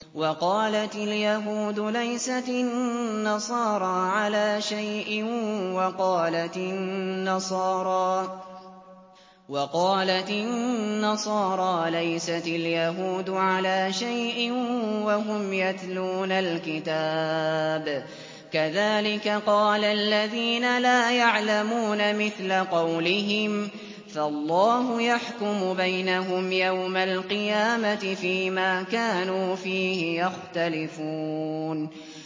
وَقَالَتِ الْيَهُودُ لَيْسَتِ النَّصَارَىٰ عَلَىٰ شَيْءٍ وَقَالَتِ النَّصَارَىٰ لَيْسَتِ الْيَهُودُ عَلَىٰ شَيْءٍ وَهُمْ يَتْلُونَ الْكِتَابَ ۗ كَذَٰلِكَ قَالَ الَّذِينَ لَا يَعْلَمُونَ مِثْلَ قَوْلِهِمْ ۚ فَاللَّهُ يَحْكُمُ بَيْنَهُمْ يَوْمَ الْقِيَامَةِ فِيمَا كَانُوا فِيهِ يَخْتَلِفُونَ